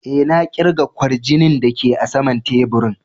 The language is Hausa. E,na kirga kwarjinin da ke a sama'n taburin.